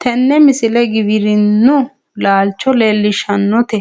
tini misile giwirinnu laalcho leellishshannote